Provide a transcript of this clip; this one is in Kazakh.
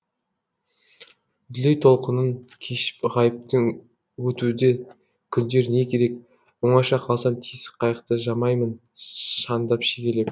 дүлей толқынын кешіп ғайыптың өтуде күндер не керек оңаша қалсам тесік қайықты жамаймын шандып шегелеп